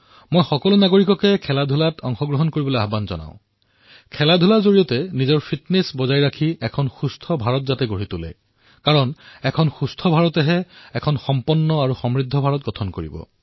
মই দেশৰ সকলো নাগৰিকক আহ্বান জনাইছোঁ যে তেওঁলোকে নিশ্চয় খেলক আৰু নিজৰ ফিটনেছৰ প্ৰতি গুৰুত্ব দিয়ক কাৰণ সুস্থ ভাৰতেহে সম্পন্ন আৰু সমৃদ্ধ ভাৰত নিৰ্মাণ কৰিব